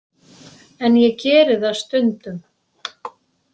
En ég geri það stundum.